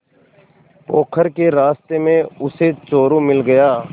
पोखर के रास्ते में उसे चोरु मिल गया